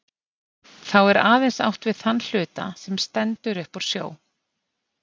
Þá er aðeins átt við þann hluta, sem stendur upp úr sjó.